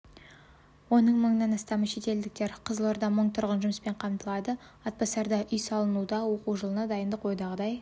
оның мыңнан астамы шетелдіктер қызылорда мың тұрғын жұмыспен қамтылады атбасарда үй салынуда оқу жылына дайындық ойдағыдай